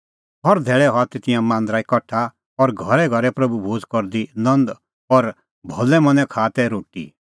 हर धेल्लै हआ तै तिंयां मांदरै कठा और घरैघरै प्रभू भोज़ करदी नंद और भलै मनैं खाआ तै रोटी